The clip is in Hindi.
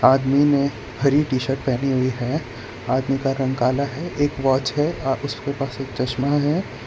आदमी ने हरी टी शर्ट पहनी हुई है आदमी का रंग काला है एक वॉच है अ उसके पास एक चश्मा है।